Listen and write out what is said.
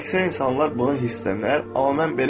Əksər insanlar buna hirslənər, amma mən belə etmirəm.